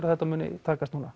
að þetta muni takast núna